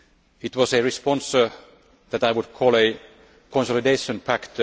It was a response that I would call a consolidation pact.